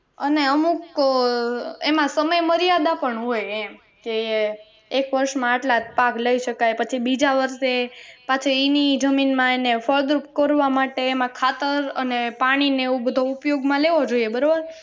અને અમુક અ એમાં સમય મર્યાદા પણ હોય એમ કે એક વર્ષમાં આટલા જ પાક લઇ શકાય પછી બીજા વર્ષે પાછા ઈ ની ઈ જમીન માં એને ફળદ્રુપ કરવા માટે એમાં ખાતર અને પાણી ને એવો બધો ઉપયોગમાં લેવો જોઈએ બરોબર